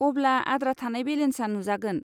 अब्ला आद्रा थानाय बेलेन्सा नुजागोन।